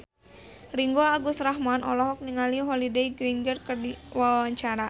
Ringgo Agus Rahman olohok ningali Holliday Grainger keur diwawancara